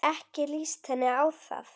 Ekki líst henni á það.